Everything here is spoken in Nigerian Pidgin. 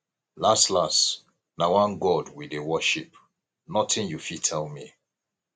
las las na one god we dey worship nothing you fit tell me